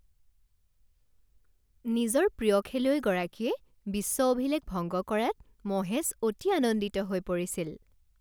নিজৰ প্ৰিয় খেলুৱৈগৰাকীয়ে বিশ্ব অভিলেখ ভংগ কৰাত মহেশ অতি আনন্দিত হৈ পৰিছিল